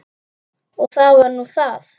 Og það var nú það.